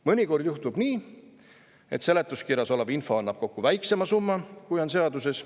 Mõnikord juhtub nii, et seletuskirjas olev info annab kokku väiksema summa, kui on seaduses.